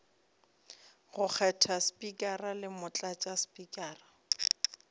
go kgetha spikara le motlatšaspikara